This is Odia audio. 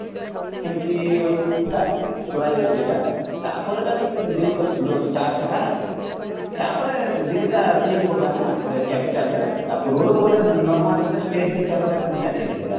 ଏମିତି ଥିଲା ଇଏଟା ତପରେ ତ ଯୋଉ ଥିଲା ତପରେ ଦିଲ୍ଲୀଟା ଇଏ ହେଇକି ବଢ଼ିଲା ନା ଗୋଟେ capitalରେ ତା ପୂର୍ବରୁ ଗୋଟେ normal ଗୋଟେ state ହିସାବରେ ନିଅ ଯାଇଥିଲା